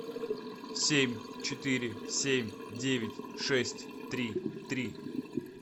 семь четыре семь девять шесть три три